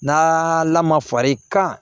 N'a lamara far'i kan